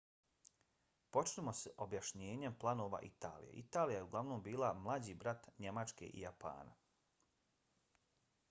počnimo s objašnjenjem planova italije. italija je uglavnom bila mlađi brat njemačke i japana